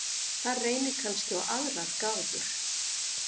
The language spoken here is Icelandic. Þar reynir kannski á aðrar gáfur.